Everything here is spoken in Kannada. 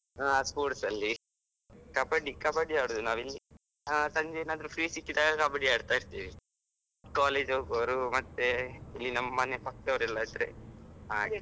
ಹಾ sports ಅಲ್ಲಿ, ಕಬ್ಬಡ್ಡಿ ಕಬ್ಬಡ್ಡಿ ಆಡುದು ನಾವಿಲ್ಲಿ ಇಲ್ಲಿ ಸಂಜೆ ಏನಾದ್ರು free ಸಿಕ್ಕಿದಾಗ ಕಬ್ಬಡಿ ಆಡ್ತಾ ಇರ್ತೀವಿ, college ಹೋಗುವ್ರು ಮತ್ತೆ ಇಲ್ಲಿ ನಮ್ಮ ಮನೆಪಕ್ಕ ಅವ್ರು ಸೇರಿ ಹಾಗೆ.